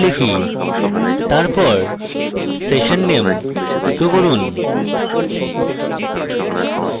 তারপর session name echo করুন